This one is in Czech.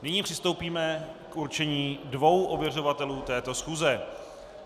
Nyní přistoupíme k určení dvou ověřovatelů této schůze.